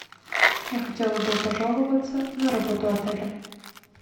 я хотела бы пожаловаться на работу отеля